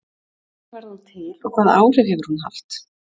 Hvernig varð hún til og hvaða áhrif hefur hún haft?